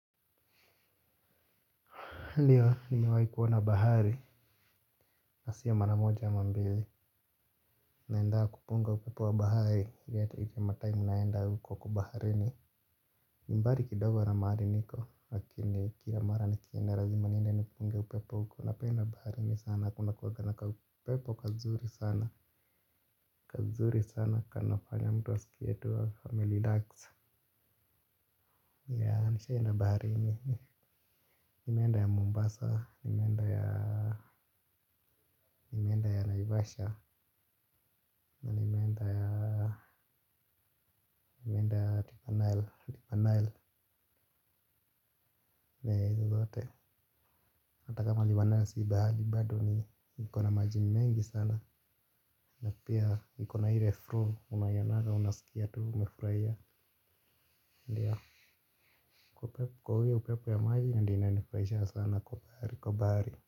Ndio nimewahi kuona bahari na sio maramoja ama mbili. Naendaa kupunga upepo wa bahari liyati iti ya matime ninaendaa huko kwa baharini. Ni mbali kidogo na mahali niko lakini kila mara nikienda lazima niende nipunge upepo huko napenda baharini sana kuna kuwa na kaupepo kazuri sana. Kazuri sana kanafanya mtu asikie tu amerelax. Ya nishaenda baharini. Nimeenda ya Mombasa, Nimeenda ya Naivasha, Nimeenda ya Tipanael. Hata kama liwanayasi hibadu ni mkona majini mengi sana. Napia nikona ile flu, unaionanga, unaskia tu, umefurahia. Kwa huyo upepe ya maji na, ndiyo inanifurahisha sana kwa bahari, kwa bahari.